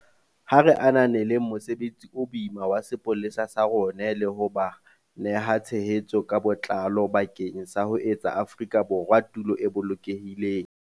Ha re ananeleng mosebetsi o boima wa sepolesa sa rona le ho ba neha tshehetso ka botlalo bakeng sa ho etsa Afrika Borwa tulo e bolokehileng.